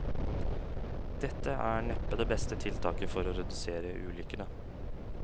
Dette er neppe det beste tiltaket for å redusere ulykkene.